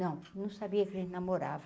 Não, não sabia que ele namorava.